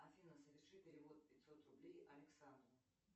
афина соверши перевод пятьсот рублей александру